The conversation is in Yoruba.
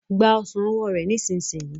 Gba ọsán ọwọ rẹ nísìsiyìí.